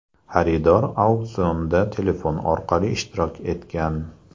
Xaridor auksionda telefon orqali ishtirok etgan.